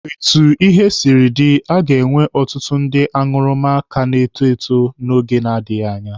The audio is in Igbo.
Etu ihe siri dịrị, a ga-enwe ọtụtụ ndị aṅụrụma ka na-eto eto n'oge na-adịghị anya.